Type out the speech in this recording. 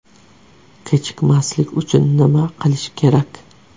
Kechikmaslik uchun nima qilish kerak?.